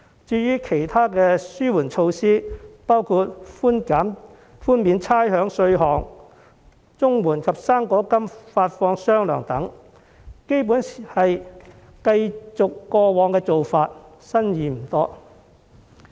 至於其他紓緩措施，包括寬免差餉稅項、綜援及"生果金"發放"雙糧"等，基本上是繼續過往做法，新意不多。